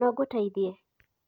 nongũteithie?